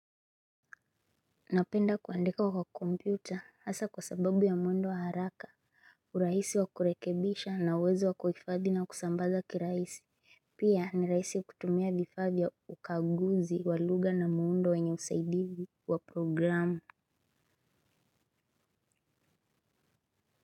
Napenda kuandika kwa kompyuta hasa kwa sababu ya mwendo wa haraka urahisi wa kurekebisha na uwezo wa kuhifadhi na kusambaza kwa urahisi. Pia ni rahisi ya kutumia vifaa vya ukaguzi wa lugha na mwendo wenye usaidizi wa programu.